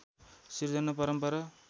सृजना परम्परा